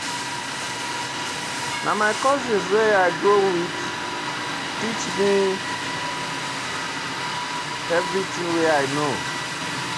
Na my cousin wey I grow wit teach me everytin wey I know.